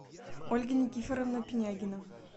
ольга никифоровна пинягина